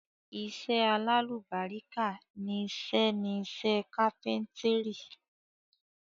Iṣẹ́ alálùbáríkà ni iṣẹ́ ni iṣẹ́ kápẹ́ńtírì.